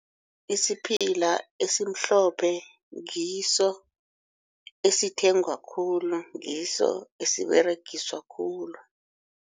Isiphila esimhlophe ngiso esithengwa khulu, ngiso esiberegiswa khulu.